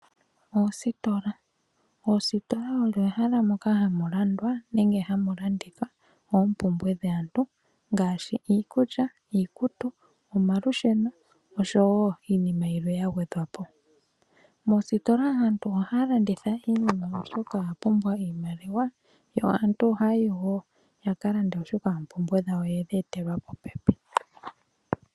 Oositola Oositola odho ehala moka hamu landwa nenge hamu landithwa oompumbwe dhaantu ngaashi iikulya, iikutu, omalusheno oshowo iinima yilwe ya gwedhwa po. Moositola aantu ohaya landitha iinima , oshoka oya pumbwa iimaliwa. Aantu ohaya yi wo ya ka lande, oshoka oompumbwe dhawo oye dhi etelwa popepi.